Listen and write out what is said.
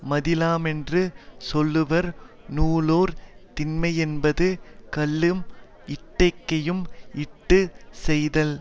மதிலாமென்று சொல்லுவர் நூலோர் திண்மையென்பது கல்லும் இட்டிகையும் இட்டு செய்தல்